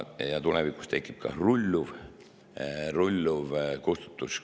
Ja tulevikus tekib ka rulluv kustutus.